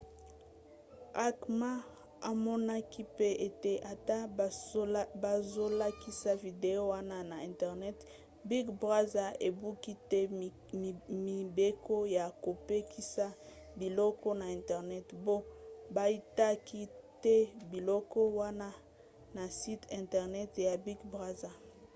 acma amonaki pe ete ata bazolakisa video wana na internet big brother ebuki te mibeko ya kopekisa biloko na internet mpo baitaki te biloko wana na site internet ya big brother